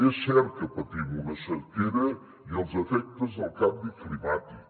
és cert que patim una sequera i els efectes del canvi climàtic